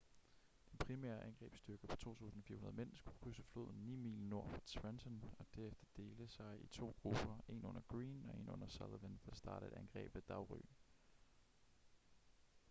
den primære angrebsstyrke på 2.400 mænd skulle krydse floden ni mil nord for trenton og derefter dele sig i to grupper en under greene og en under sullivan for at starte et angreb ved daggry